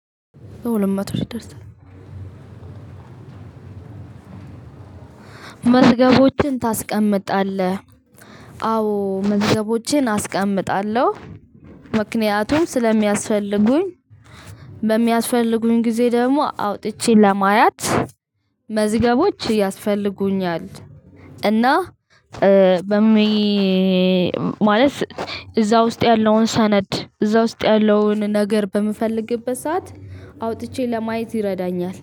መዝገቦችን ታስቀምጣለህ? አዎ መዝገቦቼን አስቀምጣለሁ። ምክንያቱም ስለሚያስፈልጉኝ። በሚያስፈልጉኝ ጊዜ ደግሞ አውጥቼ ለማየት። መዝገቦች ያስፈልጉኛል። እና በሚ ማለት እዛ ውስጥ ያለውን ሰነድ እዛ ውስጥ ያለውን ነገር በምፈልግበት ሰዓት። አውጥቼ ለማየት ይረዳኛል